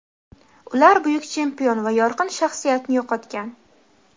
Ular buyuk chempion va yorqin shaxsiyatni yo‘qotgan.